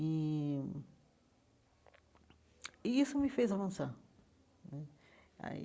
E e isso me fez avançar né.